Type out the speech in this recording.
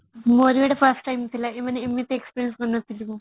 ମୋର ବି ଏଇଟା first time ଥିଲା ମାନେ ଏମିତି experience କରିନଥିଲି ମୁଁ